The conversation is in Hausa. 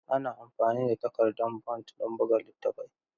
Ana amfani da takardan bond don buga littattafai.